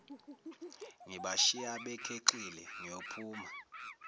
ngibashiya bekhexile ngiyophuma